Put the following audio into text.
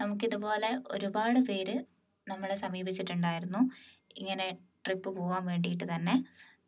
നമുക്ക് ഇതുപോലെ ഒരുപാട് പേര് നമ്മളെ സമീപിച്ചിട്ടുണ്ടായിരുന്നു ഇങ്ങനെ trip പോകാൻ വേണ്ടിയിട്ട് തന്നെ